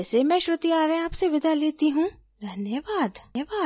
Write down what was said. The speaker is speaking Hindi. यह स्क्रिप्ट बिंदु पांडे द्वारा अनुवादित है आईआईटी बॉम्बे से मैं श्रुति आर्य अब आपसे विदा लेती हूँ धन्यवाद